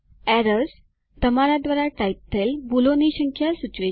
errors - તમારા દ્વારા type થયેલ ભૂલોની સંખ્યા સૂચવે છે